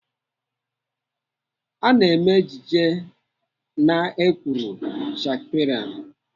Ana eme ejije n'èkwùrù Shakespeare